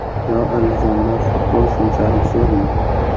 Yo Andijonda futbol shunchalik zo‘rmi?!